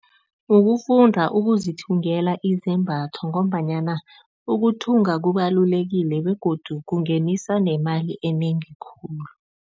Ukufunda ukuzithengela izembatho ngombanyana ukuthunga kubalulekile begodu kungenisa nemali enengi khulu.